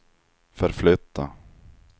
förflytta